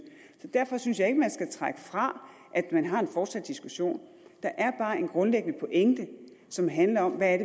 så derfor synes jeg man skal trække fra at man har en fortsat diskussion der er bare en grundlæggende pointe som handler om hvad